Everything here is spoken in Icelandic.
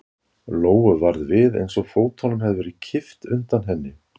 Lóu varð við eins og fótunum hefði verið kippt undan henni.